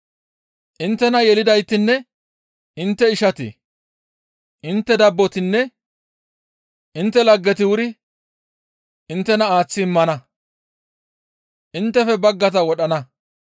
Inttena yelidaytinne intte ishati, intte dabbotinne intte laggeti wuri inttena aaththi immana; inttefe baggata wodhana.